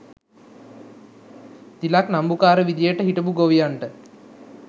තිලක් නම්බුකාර විදියට හිටපු ගොවියන්ට